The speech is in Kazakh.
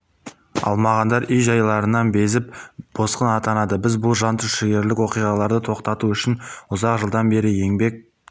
алмағандар үй-жайларынан безіп босқын атанады біз бұл жантүршігерлік оқиғаларды тоқтату үшін ұзақ жылдан бері еңбек